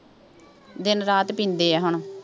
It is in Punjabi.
ਦਿਨ ਰਾਤ ਪੀਂਦੇ ਆ ਹੁਣ,